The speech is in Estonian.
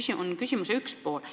See on küsimuse üks pool.